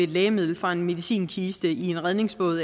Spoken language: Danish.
lægemiddel fra en medicinkiste i en redningsflåde